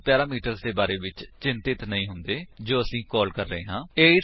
ਅਸੀ ਪੈਰਾਮੀਟਰਸ ਦੇ ਬਾਰੇ ਵਿੱਚ ਚਿੰਤਿਤ ਨਹੀਂ ਹੁੰਦੇ ਹਾਂ ਜੋ ਅਸੀ ਕਾਲ ਕਰ ਰਹੇ ਹਾਂ